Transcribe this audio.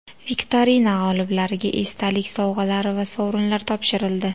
Viktorina g‘oliblariga esdalik sovg‘alari va sovrinlar topshirildi.